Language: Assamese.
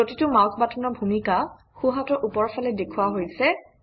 প্ৰতিটো মাউচ বাটনৰ ভূমিকা সোঁহাতৰ ওপৰফালে দেখুওৱা হৈছে